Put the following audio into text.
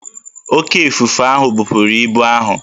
Oké ifufe ahụ bupuru ibu ahụ